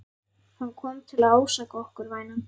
Hann kom til að ásaka okkur, vænan.